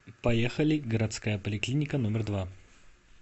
поехали городская поликлиника номер два